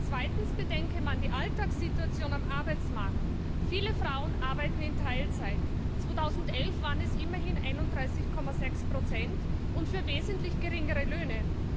Zweitens bedenke man die Alltagssituation am Arbeitsmarkt Viele Frauen arbeiten in Teilzeit 2011 waren es immerhin 31,6 und für wesentlich geringere Löhne